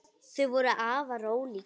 Þau voru afar ólík.